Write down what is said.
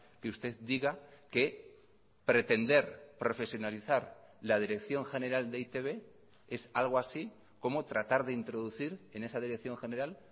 que usted diga que pretender profesionalizar la dirección general de e i te be es algo así como tratar de introducir en esa dirección general